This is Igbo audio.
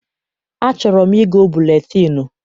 Achọrọ m igo buletịịnụ